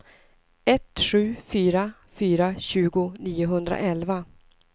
ett sju fyra fyra tjugo niohundraelva